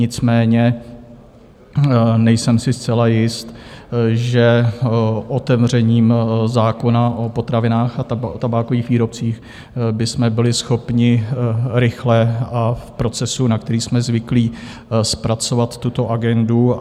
Nicméně nejsem si zcela jist, že otevřením zákona o potravinách a tabákových výrobcích bychom byli schopni rychle a v procesu, na který jsme zvyklí, zpracovat tuto agendu.